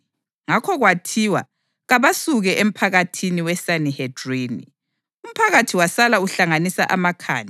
Ngakho kwathiwa kabasuke emphakathini weSanihedrini, umphakathi wasala uhlanganisa amakhanda.